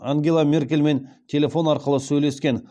ангела меркельмен телефон арқылы сөйлескен